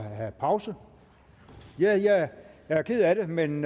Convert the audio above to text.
have pause ja jeg er ked af det men